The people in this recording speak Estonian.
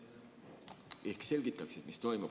Ehk selgitaksid, mis toimub.